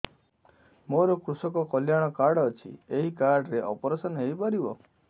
ସାର ମୋର କୃଷକ କଲ୍ୟାଣ କାର୍ଡ ଅଛି ଏହି କାର୍ଡ ରେ ଅପେରସନ ହେଇପାରିବ